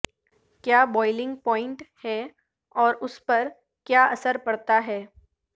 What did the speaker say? کیا boiling point ہے اور اس پر کیا اثر پڑتا ہے